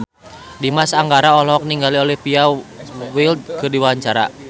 Dimas Anggara olohok ningali Olivia Wilde keur diwawancara